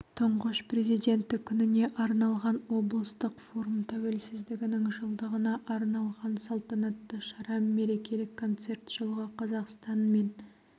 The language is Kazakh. тұңғыш президенті күніне арналған облыстық форум тәуелсіздігінің жылдығына арналған салтанатты шара мерекелік концерт жылғы қазақстан мен